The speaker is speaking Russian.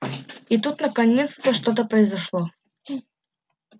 и тут наконец-то что-то произошло